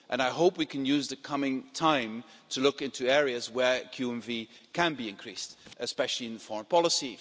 I hope we can use the coming time to look into areas where QMV can be increased, especially in foreign policy.